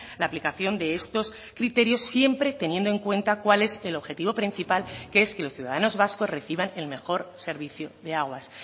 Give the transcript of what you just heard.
la aplicación de estos criterios siempre teniendo en cuenta cuál es el objetivo principal que es que los ciudadanos vascos reciban el mejor servicio de aguas